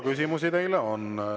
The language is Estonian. Küsimusi teile on.